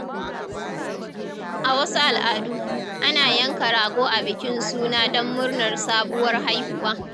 A wasu al’adu, ana yanka rago a bikin suna don murnar sabuwar haihuwa.